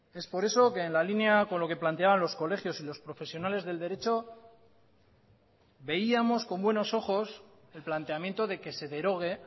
es por eso que en la línea con lo que planteaban los colegios y los profesionales del derecho veíamos con buenos ojos el planteamiento de que se derogue